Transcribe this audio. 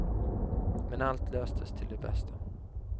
Men allt löstes till det bästa.